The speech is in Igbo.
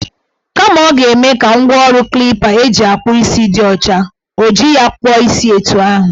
Kama ọ g-eme ka ngwaọrụ klipa eji akpụ isi dị ọcha, o ji ya kpụọ ya isi etu ahụ.